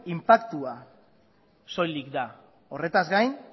inpaktua soilik da horretaz gain